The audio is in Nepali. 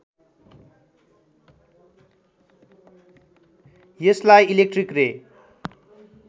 यसलाई इलेक्ट्रिक रे